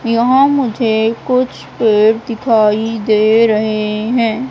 यहां मुझे कुछ पेड़ दिखाई दे रहे हैं।